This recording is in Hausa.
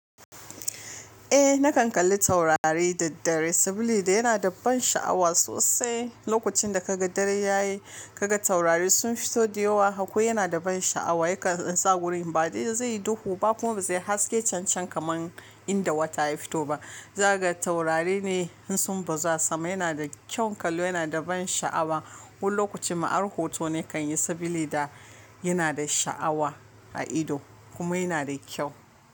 Eh nakan kalli taurari da daddare sabila da yana da ban sha'awa sosai. Lokacin da ka ga dare ya yi, ka ga taurari sun fito da yawa haka yana da ban sha'awa. Yakan sa wurin ba dai zaiyi duhu ba kuma ba zai haske can-can kamar inda wata ya fito ba. Zaka ga taurari ne in sun bazu a sama yana da kyan kallo, yana da ban sha'awa. Wani lokaci ma har hoto na kan yi sabili da yana da sha'awa a ido kuma yana da kyau.